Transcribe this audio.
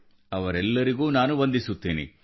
ಅವರೆಲ್ಲರಿಗೂ ನಾನು ವಂದಿಸುತ್ತೇನೆ